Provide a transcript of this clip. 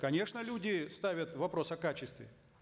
конечно люди ставят вопрос о качестве